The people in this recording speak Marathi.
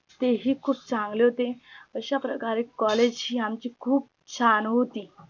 ते ही खूप चांगले होते. अशा प्रकारे COLLAGE हे आमची खूप छान होते